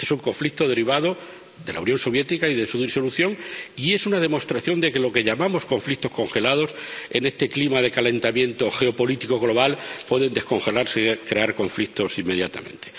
Es un conflicto derivado de la Unión Soviética y de su disolución, y es una demostración de que lo que llamamos conflictos congelados, en este clima de calentamiento geopolítico global, pueden descongelarse y crear conflictos inmediatamente.